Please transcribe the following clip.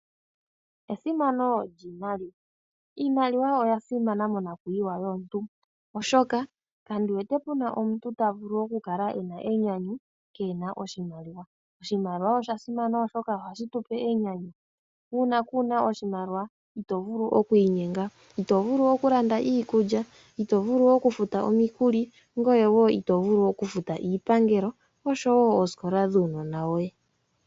Esimano lyiimaliwa, iimaliwa oya simana monakuyiwa yomuntu oshoka kandi wete puna omuntu ta vulu okukala e na enyanyu keehena oshimaliwa. Oshimaliwa osha simana oshoka ohashi tu pe enyanyu. Uuna kuuna oshimaliwa ito vulu oku inyenga, ito vulu okulanda iikulya, ito vulu okufuta omikuli ngoye woo ito vulu okufuta iipangelo osho woo oosikola dhuunona woye.